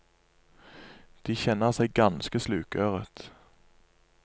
De kjenner seg ganske slukøret.